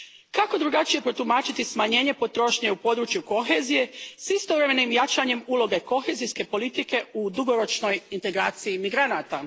Kako drukčije protumačiti smanjenje potrošnje u području kohezije s istovremenim jačanjem uloge kohezijske politike u dugoročnoj integraciji migranata?